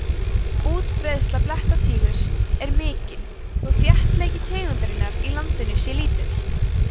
útbreiðsla blettatígurs er mikil þó þéttleiki tegundarinnar í landinu sé lítill